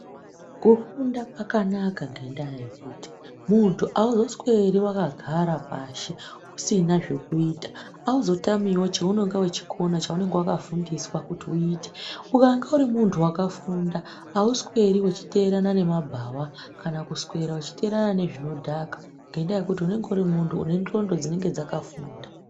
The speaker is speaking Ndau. Kufunda kwakanaka ngendaa yekuti muntu hauzosweri vakagara pashi usina zvokuita. Hauzotamivo chounonga uchikona chounonga vakafundiswa kuti uite ukange uri muntu vakafunda hausweri uchiterana nemabhava. Kana kuswera uchiterana nezvinodhaka ngendaa yekuti unenge uri muntu une ndxondo dzinenge dzakafunda.